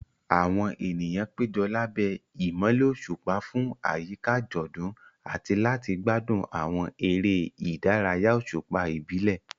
Àwọn ènìyàn péjọ lábẹ́ ìmọ́lẹ̀ òṣùpá fún àyíká àjọ̀dún àti láti gbádùn àwọn eré ìdárayá òṣùpá ìbílẹ̀.